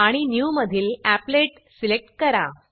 आणि new new मधील applet applet select करा